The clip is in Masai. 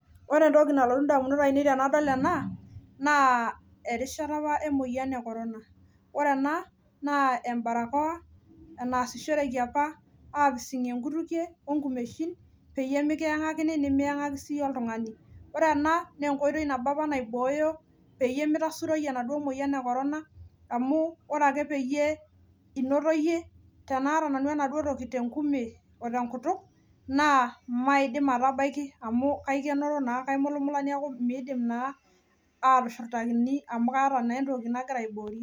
ore entoki nalotu idamunot ainei tenadol ena naa erishata apa emoyian ekorona, ore ena naa ebarokowa kepising'ieki apa inkutukie, onkumeshin peyie mikiyang'akini nimiyang'aki siyie oltung'ani, ore ena naa enkoitoi nabo apa naiboyo peyie mitasuroi enaduo moyian ekorona, amu ore ake eyie inoto iyie naata nanu enaduoo toki tenkutuk we tenkume naa maidim atamaki amu kaimulumula neeku midim naa atushurtaki amu kaata naa entoki nagira aiborie.